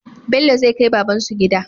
Bello zai kai babbansu gida